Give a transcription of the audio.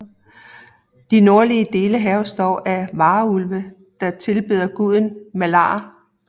De nordlige dele hærges dog af varulve der tilbeder guden Malar